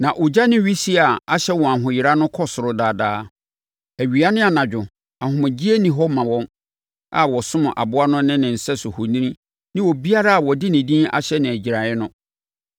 Na ogya no wisie a ɛhyɛ wɔn ahoyera no kɔ ɔsoro daa daa. Awia ne anadwo, ahomegyeɛ nni hɔ ma wɔn a wɔsom aboa no ne ne sɛso ohoni ne obiara a wɔde ne din ahyɛ no agyiraeɛ no.”